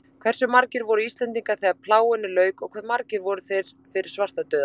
Hversu margir voru Íslendingar þegar plágunni lauk og hve margir voru þeir fyrir svartadauða?